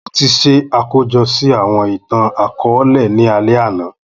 Mo ti ṣe akojọ si awọn itan-akọọlẹ ni alẹ ana